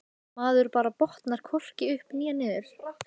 Maður bara botnar hvorki upp né niður.